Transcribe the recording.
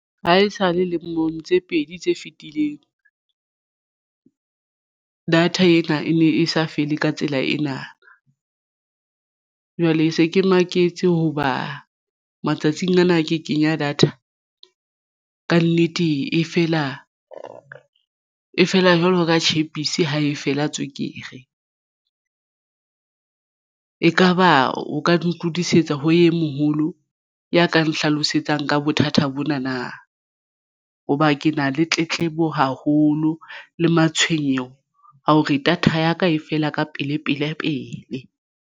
Ha e sale lemong tse pedi tse fitileng data ena e ne e sa fele ka tsela ena. Jwale e se ke maketse hoba matsatsing ana ke kenya data kannete e fela fela jwalo ka tjhepisi ha e fela tswekere. Ekaba o ka ngodisetsa ho ye moholo ya ka nhlalosetsang ka bothata bona na hoba ke na le tletlebo haholo le matshwenyeho a hore data ya ka e fela ka pele pele pele.